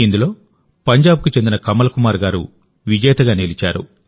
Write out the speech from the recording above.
ఇందులో పంజాబ్కు చెందిన కమల్ కుమార్ గారు విజేతగా నిలిచారు